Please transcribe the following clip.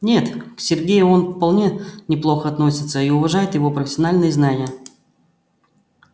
нет к сергею он вполне неплохо относится и уважает его профессиональные знания